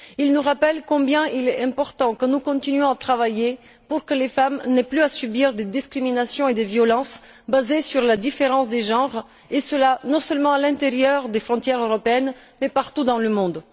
Il nous rappelle combien il est important que nous continuions à travailler pour que les femmes n'aient plus à subir de discriminations et de violences basées sur la différence des genres, et cela non seulement à l'intérieur des frontières européennes, mais aussi partout dans le monde.